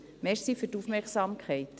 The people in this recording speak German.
Danke für die Aufmerksamkeit.